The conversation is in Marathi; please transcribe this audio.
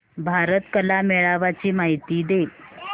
भारत कला मेळावा ची माहिती दे